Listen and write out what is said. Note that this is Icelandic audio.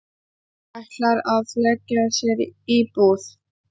Ætlar að leigja sér íbúð.